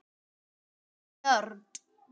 Ég er nörd.